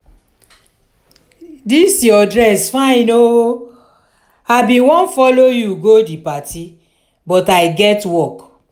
dis your dress fine oo i bin wan follow you go the party but i get work